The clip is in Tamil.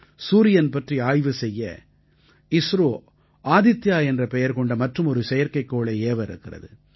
சூரியன் பற்றி ஆய்வு செய்ய இஸ்ரோ ஆதித்யா என்ற பெயர் கொண்ட மற்றுமொரு செயற்கைக்கோளை ஏவ இருக்கிறது